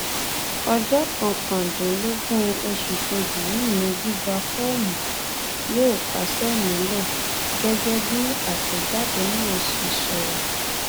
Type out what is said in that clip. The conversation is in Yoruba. ọjọ kọkàndínlógún oṣù kejì yìí ni gbígba fọọmù yóò kásẹ nílẹ gẹgẹ bí àtẹjáde náà ṣe sọ